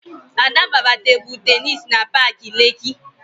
Ada gbara Tebụl Tennis na paakị Lekkị